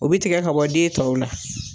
O bi tigɛ ka bɔ den tɔw la